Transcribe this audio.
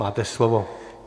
Máte slovo.